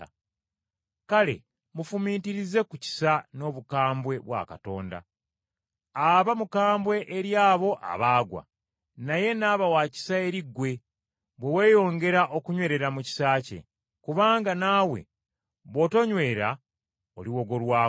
Kale mufumiitirize ku kisa n’obukambwe bwa Katonda. Aba mukambwe eri abo abaagwa, naye n’aba wa kisa eri ggwe, bwe weeyongera okunywerera mu kisa kye, kubanga naawe bw’otonywere oliwogolwako.